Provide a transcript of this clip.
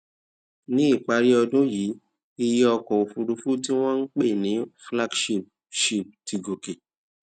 ní ìparí ọdún yìí iye ọkò òfuurufú tí wón ń pè ní flagship ship ti gòkè